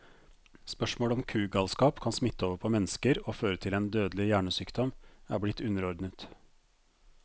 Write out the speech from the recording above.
Spørsmålet om kugalskap kan smitte over på mennesker og føre til en dødelig hjernesykdom, er blitt underordnet.